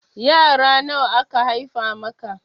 Yara nawa aka haifa maka?